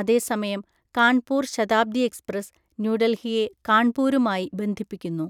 അതേസമയം കാൺപൂർ ശതാബ്ദി എക്സ്പ്രസ്, ന്യൂഡൽഹിയെ കാൺപൂരുമായി ബന്ധിപ്പിക്കുന്നു.